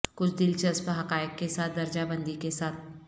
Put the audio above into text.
کچھ دلچسپ حقائق کے ساتھ درجہ بندی کے ساتھ